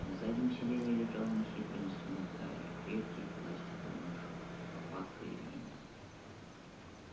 на заднем сиденье лежал нехитрый инструментарий крепкий пластиковый мешок лопатка и веник